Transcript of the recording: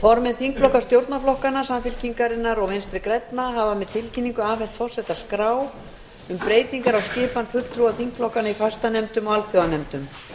formenn þingflokka stjórnarflokkanna samfylkingarinnar og vinstri grænna hafa með tilkynningu afhent forseta skrá um breytingar á skipan fulltrúa þingflokkanna í fastanefndum og alþjóðanefndum